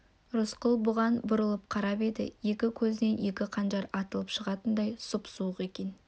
рысқұл бұған бұрылып қарап еді екі көзінен екі қанжар атылып шығатындай сұп-суық екен